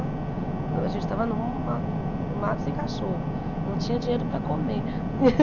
A gente tava num ah num mato sem cachorro, não tinha dinheiro para comer.